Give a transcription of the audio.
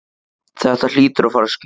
Þetta hlýtur að fara að skýrast